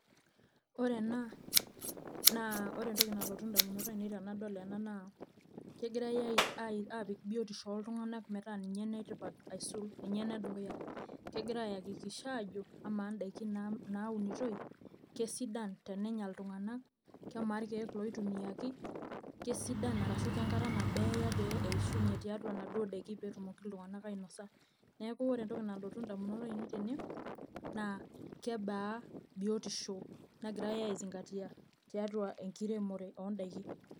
Wore ena, naa wore entoki nalotu indamunot aiinei tenadol ena naa, kekirai aapik bietisho oltunganak metaa ninye enetipat aisul, ninye enedukuya. Kekira ayakikisha aajo, amaa indaikin naaunitoi, kesidan tenenya iltunganak, kemaa irkiek ooitumiyaki, kesidan arashu kenkata nabo eya pee eeishunye tiatua naduo daikin pee etumoki iltunganak ainosa. Neeku wore entoki nalotu indamunot aiinei tene, naa, kebaa bietisho nakirai ai zingatia tiatua enkiremore oondaikin.